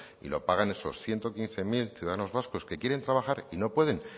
y lo pagan esos ciento quince mil ciudadanos vascos que quieren trabajar y no pueden